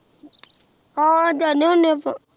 ਹਾਂ ਜਾਂਦੇ ਹੁੰਦੇ ਆਪਾਂ